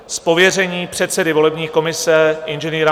Z pověření předsedy volební komise Ing.